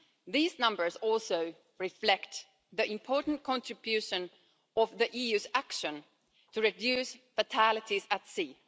These numbers also reflect the important contribution of the EU's action to reduce fatalities at sea.